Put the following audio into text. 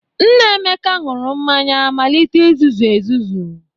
Nna Emeka ṅụrụ mmanya malite izuzu ezuzu.